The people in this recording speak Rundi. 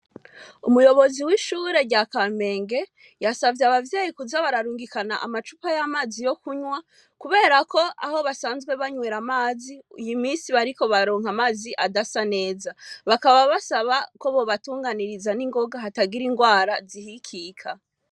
Umuyobozi w'ishure rya Kamenge, yasavye abavyeyi kuza bararungikana amacupa y'amazi yo kunywa, kubera ko aho basanzwe banywera amazi, iyi misi bariko baronka amazi adasa neza. Bakaba basaba ko bobatunganiriza n'ingoga hatagira ingwara zihikika.